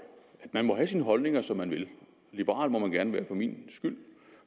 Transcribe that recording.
man må have sine holdninger som man vil liberal må man gerne være for min skyld